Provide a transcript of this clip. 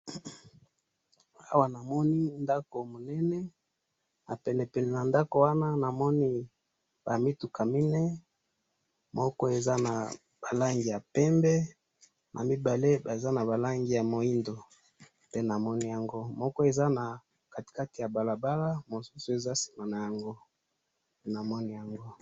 Awa namoni ndaku munene na pene pene na ndaku wana namoni ba mituka minei moko eza na ba langi ya pembe na mibale baza na ba langi ya muindo pe namoni yango moko eza na kati kati ya balabala mosusu eza sima na yango ,namoni yango